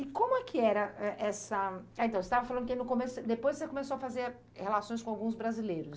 E como é que era é essa... Ah, então, você estava falando que no começo você, depois você começou a fazer relações com alguns brasileiros.